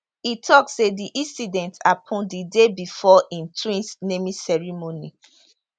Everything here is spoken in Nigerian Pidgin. e tok say di incident happun di day before im twins naming ceremony